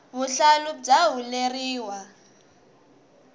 vuhlalu bya huleriwa